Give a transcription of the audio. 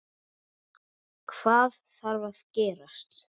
Hvað þarf að gerast?